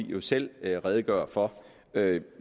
jo selv redegøre for jeg